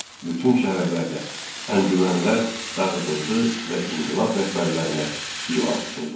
Bütün şəhərlərdə əncümənlər dağıdıldı və inqilab rəhbərlərinə divan tutuldu.